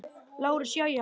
LÁRUS: Jæja.